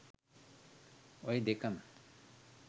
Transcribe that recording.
ඔය දෙකම